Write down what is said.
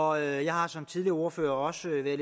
og jeg har som tidligere ordførere også været